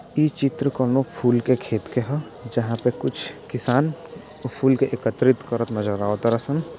इ चित्र कोनों फूल के खेत के ह जहां पे कुछ किसान फूल के एकत्रित करत नजर आवत रा सन।